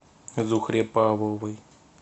зухре павловой